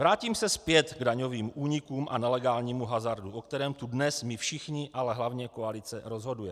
Vrátím se zpět k daňovým únikům a nelegálnímu hazardu, o kterém tu dnes my všichni, ale hlavně koalice, rozhodujeme.